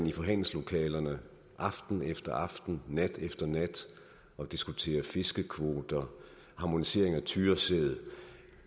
i forhandlingslokalerne aften efter aften nat efter nat og diskuterer fiskekvoter harmonisering af tyresæd